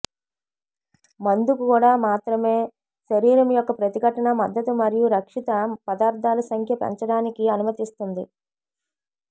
మందు కూడా మాత్రమే శరీరం యొక్క ప్రతిఘటన మద్దతు మరియు రక్షిత పదార్థాలు సంఖ్య పెంచడానికి అనుమతిస్తుంది